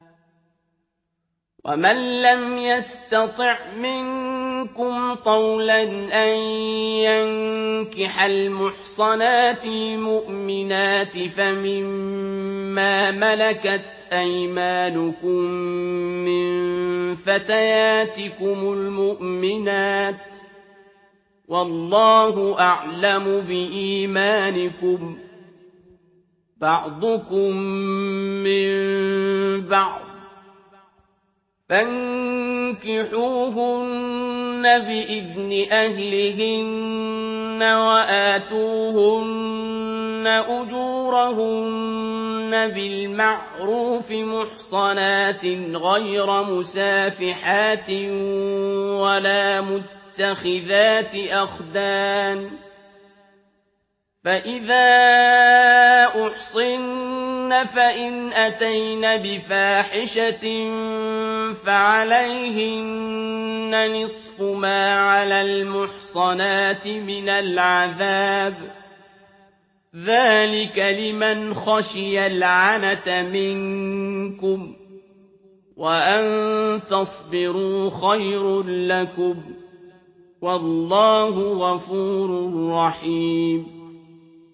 وَمَن لَّمْ يَسْتَطِعْ مِنكُمْ طَوْلًا أَن يَنكِحَ الْمُحْصَنَاتِ الْمُؤْمِنَاتِ فَمِن مَّا مَلَكَتْ أَيْمَانُكُم مِّن فَتَيَاتِكُمُ الْمُؤْمِنَاتِ ۚ وَاللَّهُ أَعْلَمُ بِإِيمَانِكُم ۚ بَعْضُكُم مِّن بَعْضٍ ۚ فَانكِحُوهُنَّ بِإِذْنِ أَهْلِهِنَّ وَآتُوهُنَّ أُجُورَهُنَّ بِالْمَعْرُوفِ مُحْصَنَاتٍ غَيْرَ مُسَافِحَاتٍ وَلَا مُتَّخِذَاتِ أَخْدَانٍ ۚ فَإِذَا أُحْصِنَّ فَإِنْ أَتَيْنَ بِفَاحِشَةٍ فَعَلَيْهِنَّ نِصْفُ مَا عَلَى الْمُحْصَنَاتِ مِنَ الْعَذَابِ ۚ ذَٰلِكَ لِمَنْ خَشِيَ الْعَنَتَ مِنكُمْ ۚ وَأَن تَصْبِرُوا خَيْرٌ لَّكُمْ ۗ وَاللَّهُ غَفُورٌ رَّحِيمٌ